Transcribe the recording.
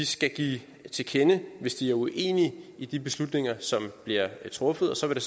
skal give sig til kende hvis de er uenige i de beslutninger som bliver truffet og så vil